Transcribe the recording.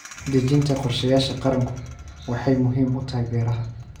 Dejinta qorshayaasha qaranku waxay muhiim u tahay beeraha.